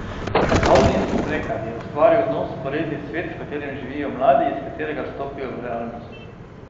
Vrhovnik Smrekar je ustvaril nov, vzporedni svet, v katerem živijo mladi in iz katerega stopajo v realnost.